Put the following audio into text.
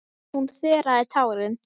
Hún þerraði tárin.